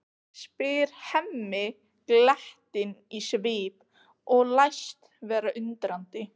spyr Hemmi glettinn á svip og læst vera undrandi.